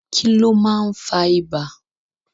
Kílón máa n fá ìbà?